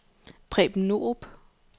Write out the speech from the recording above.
Preben Norup